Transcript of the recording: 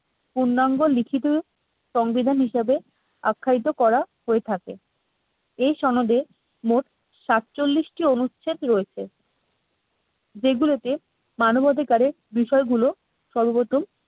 পূর্ণাঙ্গ লিখিত সংবিধান হিসাবে আখ্যায়িত করা হয়ে থাকে এই সনদে মোট সাতচল্লিশ টি অনুচ্ছেদ রয়েছে। যেগুলোতে মানবাধিকারের বিষয়গুলো সর্বপ্রথম